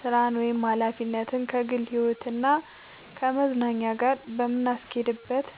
ስራን ወይም ሀላፊነትን ከግል ህይወት እና ከመዝናኛ ጋር የምናስኬድበት